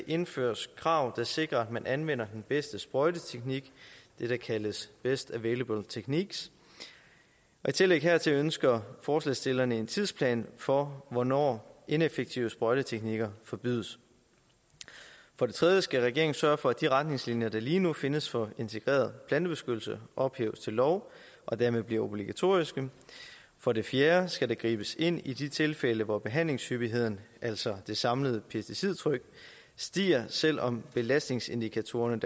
indføres krav der sikrer at man anvender den bedste sprøjteteknik det der kaldes best available techniques og i tillæg hertil ønsker forslagsstillerne en tidsplan for hvornår ineffektive sprøjteteknikker forbydes for det tredje skal regeringen sørge for at de retningslinjer der lige nu findes for integreret plantebeskyttelse ophæves til lov og dermed bliver obligatoriske for det fjerde skal der gribes ind i de tilfælde hvor behandlingshyppigheden altså det samlede pesticidtryk stiger selv om belastningsindikatorerne